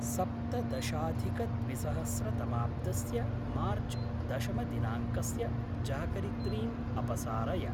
सप्तदशाधिकद्विसहस्रतमाब्दस्य मार्च् दशमदिनाङ्कस्य जागरित्रीम् अपसारय।